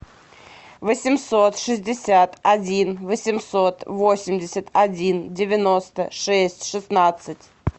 восемьсот шестьдесят один восемьсот восемьдесят один девяносто шесть шестнадцать